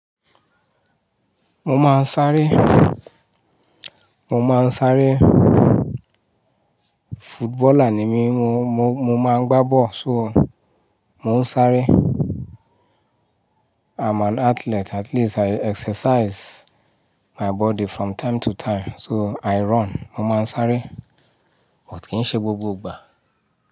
Mo máa ń sáré, mo máa ń sáré. Footballer ni mí, mo, mo, mo máa ń gbá ball. So, mo ń sáré. I'm an athlete, at least I exercise my body from time to time. So I run, mo máa ń sáré, but kì í ṣe gbogbo ìgbà.